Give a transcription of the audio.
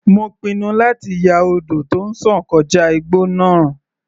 Mo pinnu láti ya odò tó ń sàn kọjá igbó náà.